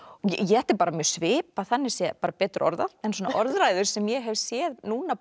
þetta er bara mjög svipað þannig séð bara betur orðað en svona orðræður sem ég hef séð núna